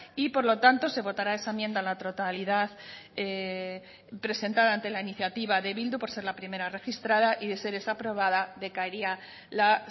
y por lo tanto se votará esa enmienda a la totalidad presentada ante la iniciativa de bildu por ser la primera registrada y de ser esa aprobada decaería la